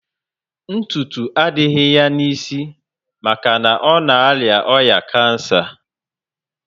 Ntutu adịghị ya na isi maka ọ na aria oya kansa